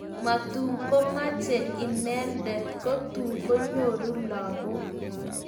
matukumeche inendet kotukunyoru lagok